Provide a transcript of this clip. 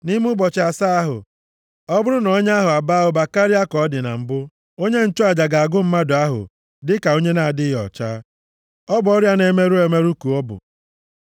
Nʼime ụbọchị asaa ahụ, ọ bụrụ na ọnya ahụ abaa ụba karịa ka ọ dị na mbụ, onye nchụaja ga-agụ mmadụ ahụ dịka onye na-adịghị ọcha. Ọ bụ ọrịa na-emerụ emerụ ka ọ bụ.